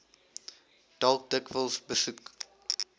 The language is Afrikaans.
dalk dikwels besoek